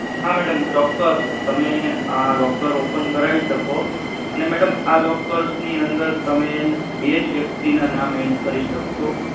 હા madam ચોક્કસ તમે આ locker open કરવા શકો અને madam આ lockers ની અંદર તમે બેજ વ્યક્તિ ના નામ add કરી શકો